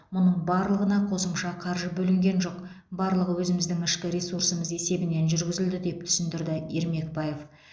мұның барлығына қосымша қаржы бөлінген жоқ барлығы өзіміздің ішкі ресурсымыз есебінен жүргізілді деп түсіндірді ермекбаев